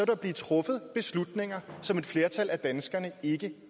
der blive truffet beslutninger som et flertal af danskerne ikke